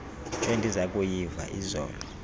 endiza kuyiva izolo